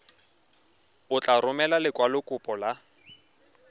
o tla romela lekwalokopo la